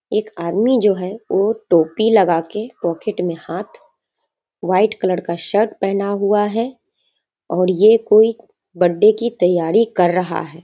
एक आदमी जो है वो टोपी लगा के पॉकेट में हाथ वाइट कलर का शर्ट पहना हुआ है और ये कोई बर्थडे की तैयारी कर रहा है।